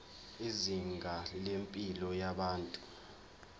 izinga lempilo yabantu